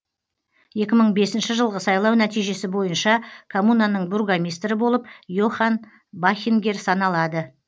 екі мың бесінші жылғы сайлау нәтижесі бойынша коммунаның бургомистрі болып йохан бахингер саналады